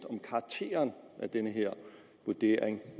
om karakteren af den her vurdering